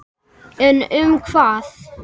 En um hvað?